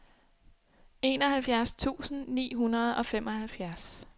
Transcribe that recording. enoghalvfjerds tusind ni hundrede og femoghalvfjerds